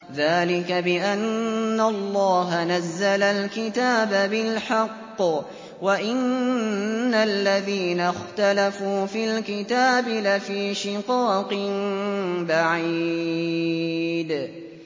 ذَٰلِكَ بِأَنَّ اللَّهَ نَزَّلَ الْكِتَابَ بِالْحَقِّ ۗ وَإِنَّ الَّذِينَ اخْتَلَفُوا فِي الْكِتَابِ لَفِي شِقَاقٍ بَعِيدٍ